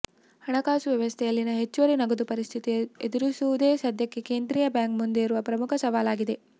ಹಣಕಾಸು ವ್ಯವಸ್ಥೆಯಲ್ಲಿನ ಹೆಚ್ಚುವರಿ ನಗದು ಪರಿಸ್ಥಿತಿ ಎದುರಿಸುವುದೇ ಸದ್ಯಕ್ಕೆ ಕೇಂದ್ರೀಯ ಬ್ಯಾಂಕ್ ಮುಂದೆ ಇರುವ ಪ್ರಮುಖ ಸವಾಲಾಗಿದೆ